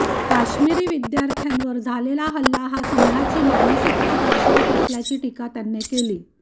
काश्मिरी विद्यार्थ्यांवर झालेला हल्ला हा संघाची मानसिकता दर्शवत असल्याची टीका त्यांनी केली